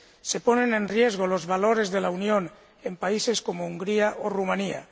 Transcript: se ponen en riesgo los valores de la Unión en países como Hungría o Rumanía.